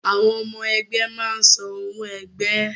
Àwọn ọmọ ẹgbẹ́ máa ń san owó ẹgbẹ́